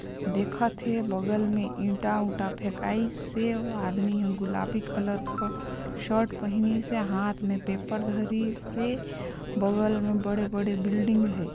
देखत हे बगल मे इंटा-उँटा फेकाय से अऊ आदमी गुलाबी कलर के शर्ट पहने से हाथ मे पेपर धरीसे बगल मे बड़े-बड़े बिल्डिंग हे।